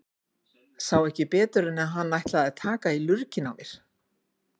Sá ekki betur en að hann ætlaði að taka í lurginn á mér.